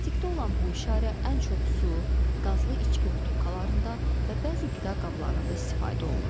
Plastikdə olan bu işarə ən çox su, qazlı içki butulkalarında və bəzi qida qablarında istifadə olunur.